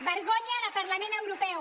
) vergonya de parlament europeu